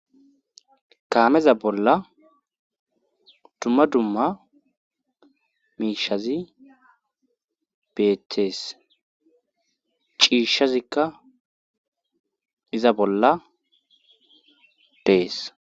kaameza bolla dumma dumma miishshazi beetees ciishshazikka iza bolla dees